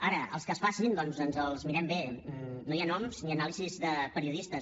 ara els que es facin doncs ens els mirem bé no hi ha noms ni anàlisis de periodistes